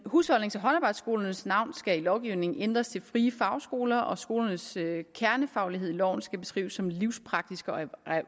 husholdnings og håndarbejdsskolernes navn skal i lovgivningen ændres til frie fagskoler og skolernes kernefaglighed i loven skal beskrives som livspraktiske og